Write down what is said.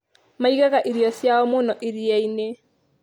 Maigaga irio ciao mũno iria-inĩ.